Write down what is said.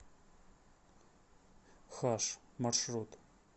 хаш маршрут